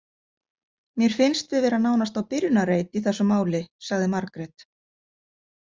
Mér finnst við vera nánast á byrjunarreit í þessum máli, sagði Margrét.